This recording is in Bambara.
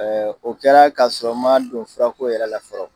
Ɛɛ o kɛra ka sɔrɔ n ma don fura ko yɛrɛ la fɔlɔ.